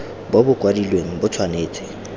bo bo kwadilweng bo tshwanetse